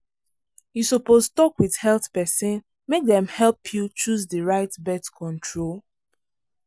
you suppose talk with health person make dem help you choose the right birth control.